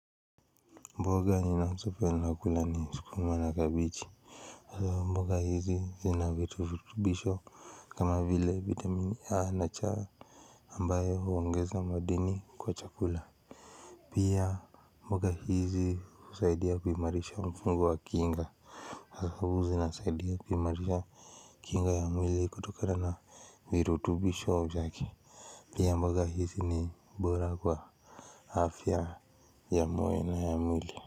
Mboga ninaso penda kula ni skuma na kabichi. Halafu mboga hizi zina virutubisho kama vile vitamini A na cha ambaye huongeza madini kwa chakula. Pia mboga hizi usaidia kuimarisha mfungu wa kinga. Hasa huwa zinasaidia kuimarisha kinga ya mwili kutokana na virutubisho yake. Pia mboga hizi ni bora kwa afya ya moyo ya mwili.